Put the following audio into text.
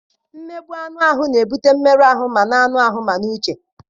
Mmegbu anụ ahụ na-ebute mmerụ ahụ ma n'anụ ahụ ma n'uche.